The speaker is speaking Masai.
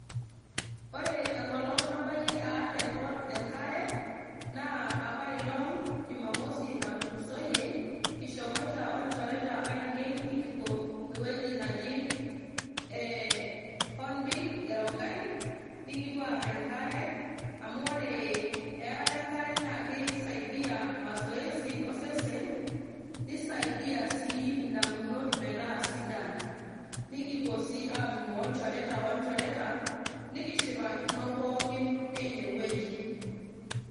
Ore enkolong nabayie aar enkare naa apa ilong jumamosi natulusoyie ,kishomoito onchereta ainei ,nikipuo ewueji naji e Hornbil e Rongai ,nikupuo aar enkare amu ore earata enkare naa kisaidia masoesi osesen nisaidia sii indamunot metaa sidan .nikipuo sii atumo olchoreta ,olchoreta nikishipakino pookin teine wueji.